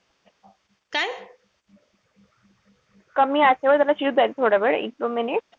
कमी त्याला शिजू द्यायचं थोडावेळ एक दोन minute.